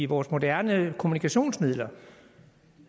vores moderne kommunikationsmidler